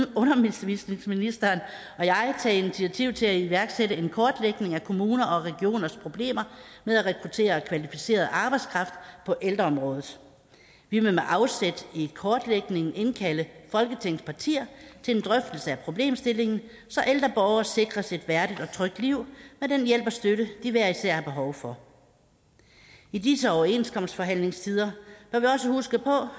vil undervisningsministeren og jeg tage initiativ til at iværksætte en kortlægning af kommuner og regioners problemer med at rekruttere kvalificeret arbejdskraft på ældreområdet vi vil med afsæt i en kortlægning indkalde folketingets partier til en drøftelse af problemstillingen så ældre borgere sikres et værdigt og trygt liv med den hjælp og støtte de hver især har behov for i disse overenskomstforhandlingstider bør vi også huske på